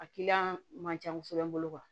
A kiliyan man ca kosɛbɛ